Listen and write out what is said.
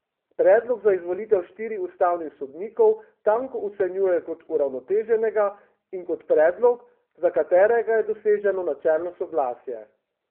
Predlog za izvolitev štirih ustavnih sodnikov Tanko ocenjuje kot uravnoteženega in kot predlog, za katerega je doseženo načelno soglasje.